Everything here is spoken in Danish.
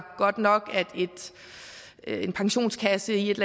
godt nok at en pensionskasse i et